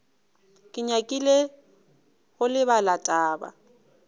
ke nyakile go lebala taba